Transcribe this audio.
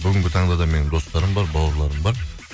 бүгінгі таңда да менің достарым бар бауырларым бар